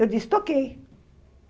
Eu disse, toquei.